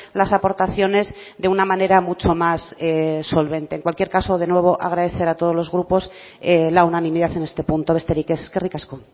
las aportaciones de una manera mucho más solvente en cualquier caso de nuevo agradecer a todos los grupos la unanimidad en este punto besterik ez eskerrik asko